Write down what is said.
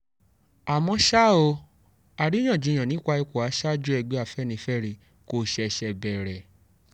àmọ́ ṣá o àríyànjiyàn nípa ipò aṣáájú ẹgbẹ́ afẹ́nifẹ́re kò ṣẹ̀ṣẹ̀ bẹ̀rẹ̀